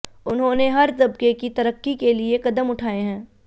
उन्होंने हर तबके की तरक्की के लिए कदम उठाये हैं